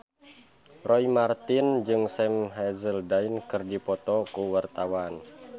Roy Marten jeung Sam Hazeldine keur dipoto ku wartawan